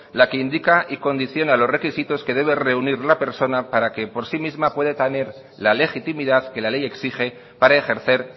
la que indica y condiciona los requisitos que debe reunir la persona para que por sí misma pueda tener la legitimidad que la ley exige para ejercer